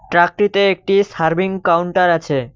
ট্রাকটিতে একটি serving counter আছে।